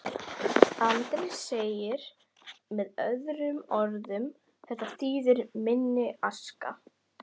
Andri: Með öðrum orðum, þetta þýðir minni aska?